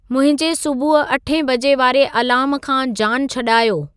मुंहिंजे सुबुहु अठे बजे वारे अलार्म खां जानु छॾायो